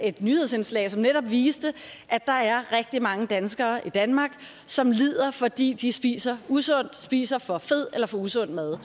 et nyhedsindslag som netop viste at der er rigtig mange danskere i danmark som lider fordi de spiser usundt spiser for fed eller for usund mad